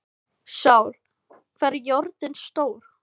Sál, hvað er jörðin stór?